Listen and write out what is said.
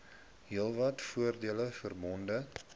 heelwat voordele verbonde